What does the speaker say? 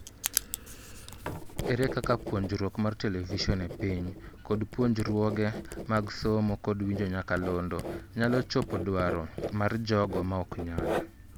Ere kaka puojruok mar Television e piny(GLTV) kod puonjruoge mag somo kod winjo nyakalondo nyalo chopo dwaro mar jogo maok nyal